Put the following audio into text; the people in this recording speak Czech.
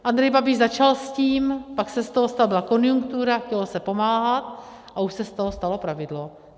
Andrej Babiš začal s tím, pak se z toho, byla konjunktura, chtělo se pomáhat a už se z toho stalo pravidlo.